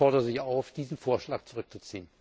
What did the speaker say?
Ich fordere Sie auf, diesen Vorschlag zurückzuziehen.